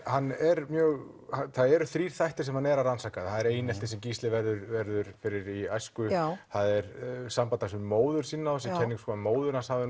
hann er mjög það eru þrír þættir sem hann er að rannsaka það er einelti sem Gísli verður verður fyrir í æsku já það er samband hans við móður sína móðir hans hafi